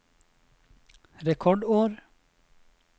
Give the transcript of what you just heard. rekordår